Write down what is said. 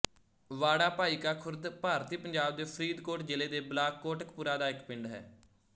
ਵਾੜਾ ਭਾਈਕਾ ਖ਼ੁਰਦ ਭਾਰਤੀ ਪੰਜਾਬ ਦੇ ਫ਼ਰੀਦਕੋਟ ਜ਼ਿਲ੍ਹੇ ਦੇ ਬਲਾਕ ਕੋਟਕਪੂਰਾ ਦਾ ਇੱਕ ਪਿੰਡ ਹੈ